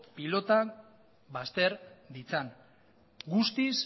pilotak bazter ditzan guztiz